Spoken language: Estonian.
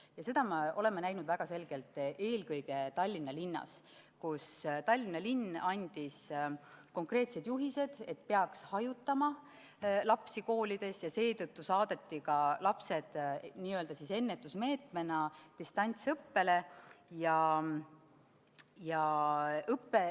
Ja seda me oleme näinud väga selgelt eelkõige Tallinnas, kus linn andis konkreetsed juhised, et koolides peaks lapsi hajutama ja seetõttu saadeti lapsed n-ö ennetusmeetmena distantsõppele.